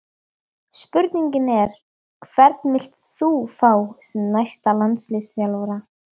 Spurningin er: Hvern vilt þú fá sem næsta landsliðsþjálfara?